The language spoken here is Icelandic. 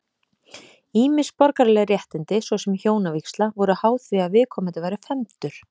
Ýmis borgaraleg réttindi, svo sem hjónavígsla, voru háð því að viðkomandi væri fermdur.